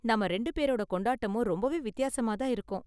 நாம ரெண்டு பேரோட கொண்டாட்டமும் ரொம்பவே வித்தியாசமா தான் இருக்கும்.